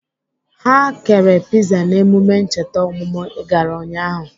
Ha kere piza n'emume ncheta ọmụmụ I gara ụnyaahụ?